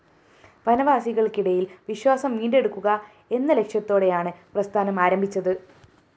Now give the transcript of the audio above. വനവാസികള്‍ക്കിടയില്‍ വിശ്വാസം വീണ്ടെടുക്കുക എന്ന ലക്ഷ്യത്തോടെയാണ് പ്രസ്ഥാനം ആരംഭിച്ചത്